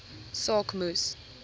saak moes